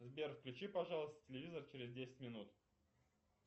сбер включи пожалуйста телевизор через десять минут